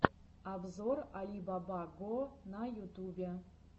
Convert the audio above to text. обзор али баба го на ютубе